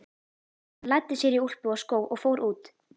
Hann læddi sér í úlpu og skó og fór út.